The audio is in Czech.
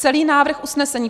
Celý návrh usnesení